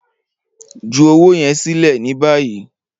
Ju owo yẹn silẹ ni bayi!